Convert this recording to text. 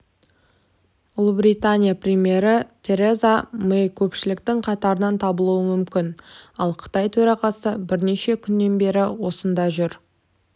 ұлыбритания премьері тэреза мэй көпшіліктің қатарынан табылуы мүмкін ал қытай төрағасы бірнеше күннен бері осында жүр